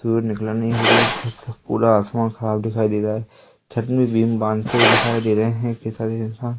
सूरज निकला नहीं है मतलब पूरा आसमान साफ दिखाई दे रहा है छत में बीम बांहते हुए दिखाई दे रहे है कई सारे इंसान--